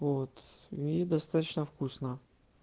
вот и достаточно вкусно